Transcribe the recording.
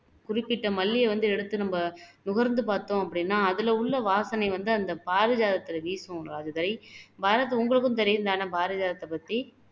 குறிப்பிட்ட மல்லியை வந்து எடுத்து நம்ம முகர்ந்து பாத்தோம் அப்படின்னா அதுல உள்ள வாசனை வந்து அந்த பாரிஜாதத்துல வீசும் ராஜதுரை பாரத் உங்களுக்கும் தெரியும் தானே பாரிஜாத்ததை பத்தி